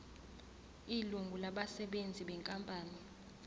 ilungu labasebenzi benkampani